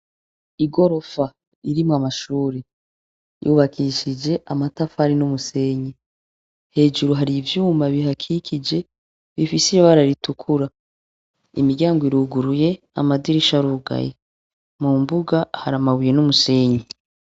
Igorofa irimwo amashure. Ryubakishije amatafari n'umusenyi. Hejuru hari ivyuma bihakikije, bifise ibara ritukura. Imiryango iruguruye, amadirisha arugaye. Mu mbuga, hari amabuye n'umusenyi.